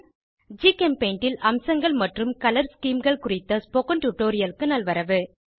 ஜிகெம்பெய்ண்ட் ல் அம்சங்கள் மற்றும் கலர் Schemeகள் குறித்த ஸ்போகன் டுடோரியலுக்கு நல்வரவு